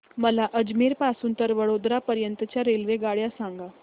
मला अजमेर पासून तर वडोदरा पर्यंत च्या रेल्वेगाड्या सांगा